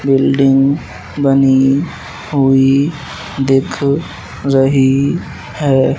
Building बनी हुई दिख रही है।